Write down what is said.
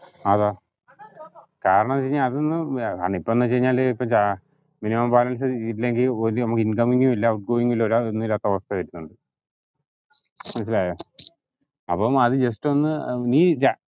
അതാ കാരണെന്ന് വെച്ചകഴിഞ്ഞാ അതൊന്ന് ഏർ ഈപ്പന്ന് വെച്ചായിഞ്ഞാ ഇപ്പ ചാ ഏർ minimum balance ഇല്ലെങ്കിൽ incoming ഉം ഇല്ല outgoining ഉം ഇല്ല ഒന്നുല്ലാത്ത അവസ്ഥ വരിന്നുണ്ട് മനസ്സിലായാ അപ്പം അത് നീ just ഒന്ന് നീ ജാ